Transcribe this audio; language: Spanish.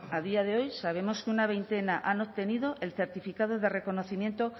a día de hoy sabemos que una veintena han obtenido el certificado de reconocimiento